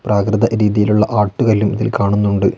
പ്രാകൃത രീതിയിലുള്ള ആട്ടുകല്ലും ഇതിൽ കാണുന്നുണ്ട്.